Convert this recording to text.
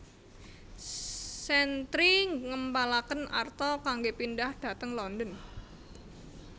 Chantrey ngempalaken arta kanggé pindhah dhateng London